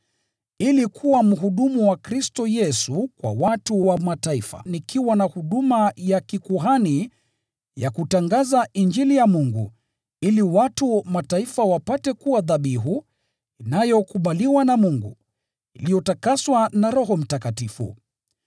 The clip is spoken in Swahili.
ili kuwa mhudumu wa Kristo Yesu kwa watu wa Mataifa nikiwa na huduma ya kikuhani ya kutangaza Injili ya Mungu, ili watu wa Mataifa wapate kuwa dhabihu inayokubaliwa na Mungu, iliyotakaswa na Roho Mtakatifu.